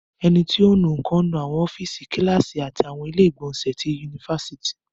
Ẹni tí ò ń nu nǹkan ń nu àwọn ọ́fíìsì, Kíláàsì àti àwọn ilé ìgbọ̀nsẹ̀ ti ifásitì